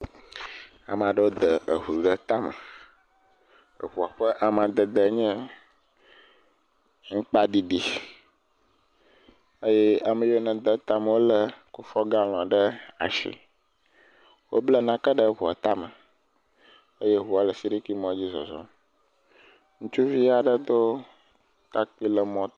Ame aɖewo de ŋu aɖe tama, ŋua ƒe amadede nye aŋkpa ɖiɖi eye ame yiwo nede etame lé kufuo galɔŋ ɖe asi. Wobla nake ɖe ŋua tame eye ŋu le sirikimɔ dzi le zɔzɔm.